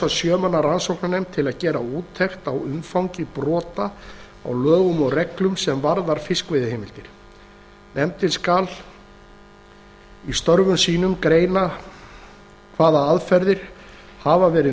sjö manna rannsóknarnefnd til að gera úttekt á umfangi brota á lögum og reglum sem varða fiskveiðiheimildir nefndin skal í störfum sínum greina hvaða aðferðir hafa verið